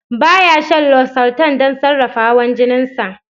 Ba ya shan losartan don sarrafa hawan jinin sa.